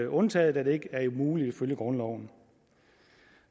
undtaget da det ikke er muligt ifølge grundloven